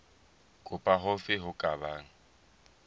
kapa hofe ho ka bang